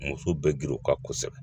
Muso bɛ girin o kan kosɛbɛ